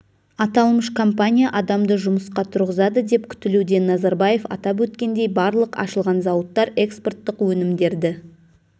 аталмыш компания адамды жұмысқа тұрғызады деп күтілуде назарбаев атап өткендей барлық ашылған зауыттар экспорттық өнімдерді